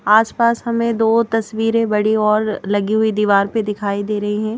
आस-पास हमें दो तस्वीरें बड़ी और लगी हुई दीवार पर दिखाई दे रही हैं।